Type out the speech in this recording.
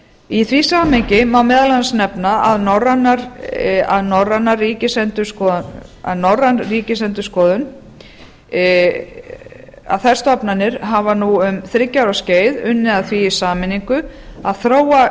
í því samhengi má meðal annars nefna að norræn ríkisendurskoðun þær stofnanir hafa nú um þriggja ára skeið unnið að því í sameiningu að þróa